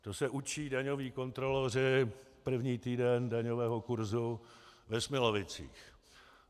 To se učí daňoví kontroloři první týden daňového kurzu ve Smilovicích.